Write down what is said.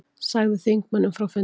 Sagði þingmönnum frá fundi